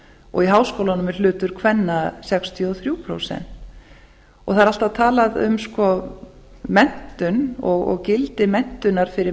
og í háskólunum er hlutur kvenna sextíu og þrjú prósent það er alltaf talað um menntun og gildi menntunar fyrir